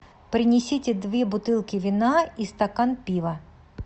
принесите две бутылки вина и стакан пива